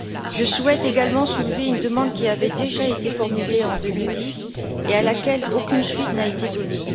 Je souhaite également soulever une demande qui avait déjà été formulée en 2010 et à laquelle aucune suite n'a été donnée.